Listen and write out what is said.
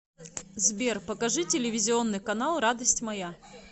сбер покажи телевизионный канал радость моя